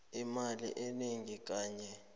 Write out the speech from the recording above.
imali enengi kanye